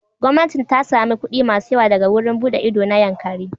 Gwamnati ta sami kuɗi masu yawa daga wurin buɗe ido na Yankari.